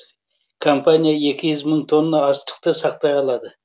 компания екі мың мың тонна астықты сақтай алады